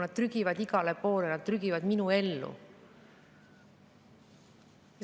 Nad trügivad igale poole, nad trügivad minu ellu.